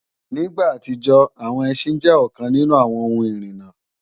Ní ìgbà àtijọ́, àwọn ẹsín jẹ́ ọ̀kan nínú àwọn ohun ìrìna